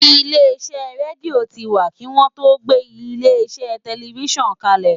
Ilé iṣẹ́ rédíò ti wà kí wọ́n tó gbé ilé iṣẹ́ tẹlifísàn kalẹ̀